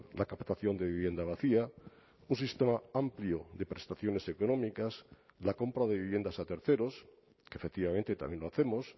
la captación de vivienda vacía un sistema amplio de prestaciones económicas la compra de viviendas a terceros que efectivamente también lo hacemos